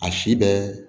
A si bɛ